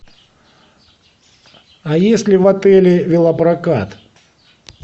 а есть ли в отеле велопрокат